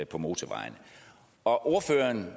på motorvejene og